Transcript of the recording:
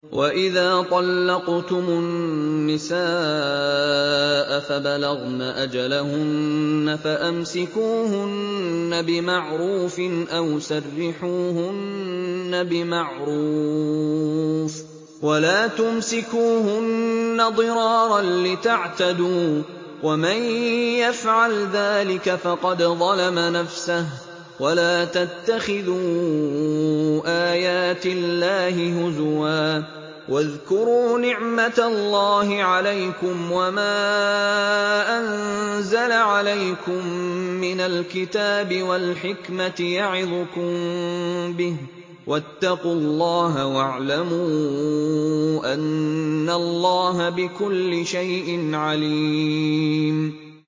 وَإِذَا طَلَّقْتُمُ النِّسَاءَ فَبَلَغْنَ أَجَلَهُنَّ فَأَمْسِكُوهُنَّ بِمَعْرُوفٍ أَوْ سَرِّحُوهُنَّ بِمَعْرُوفٍ ۚ وَلَا تُمْسِكُوهُنَّ ضِرَارًا لِّتَعْتَدُوا ۚ وَمَن يَفْعَلْ ذَٰلِكَ فَقَدْ ظَلَمَ نَفْسَهُ ۚ وَلَا تَتَّخِذُوا آيَاتِ اللَّهِ هُزُوًا ۚ وَاذْكُرُوا نِعْمَتَ اللَّهِ عَلَيْكُمْ وَمَا أَنزَلَ عَلَيْكُم مِّنَ الْكِتَابِ وَالْحِكْمَةِ يَعِظُكُم بِهِ ۚ وَاتَّقُوا اللَّهَ وَاعْلَمُوا أَنَّ اللَّهَ بِكُلِّ شَيْءٍ عَلِيمٌ